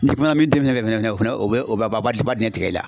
min den fɛ fɛnɛ o fɛnɛ o b'a dinɛ tigɛ i la.